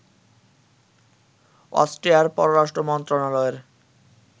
অস্ট্রিয়ার পররাষ্ট্র মন্ত্রণালয়ের